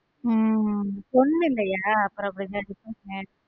உம் பொண்ணு இல்லையா அப்புறம் அப்படித்தான distance make